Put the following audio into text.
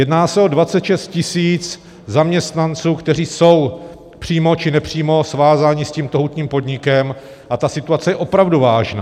Jedná se o 26 000 zaměstnanců, kteří jsou přímo či nepřímo svázáni s tímto hutním podnikem, a ta situace je opravdu vážná.